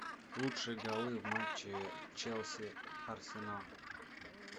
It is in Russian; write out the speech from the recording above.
лучшие голы в матче челси арсенал